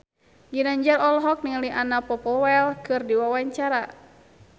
Ginanjar olohok ningali Anna Popplewell keur diwawancara